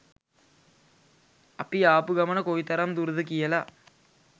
අපි ආපු ගමන කොයිතරම් දුරද කියල.